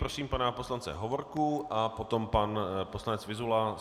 Prosím pana poslance Hovorku a potom pan poslanec Vyzula.